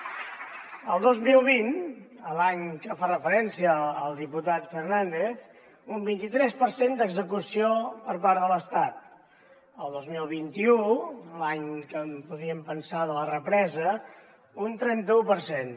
el dos mil vint l’any a què fa referència al diputat fernández un vint i tres per cent d’execució per part de l’estat el dos mil vint u l’any que podríem pensar de la represa un trenta u per cent